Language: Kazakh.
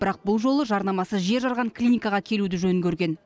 бірақ бұл жолы жарнамасы жер жарған клиникаға келуді жөн көрген